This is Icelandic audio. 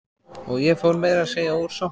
Og ég fór meira að segja úr sokkunum.